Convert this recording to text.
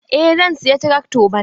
Eh, zan saya trakto bana.